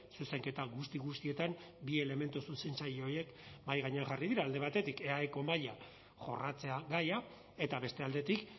zuzenketa guzti guztietan bi elementu zuzentzaile horiek mahai gainean jarri dira alde batetik eaeko mahaia jorratzea gaia eta beste aldetik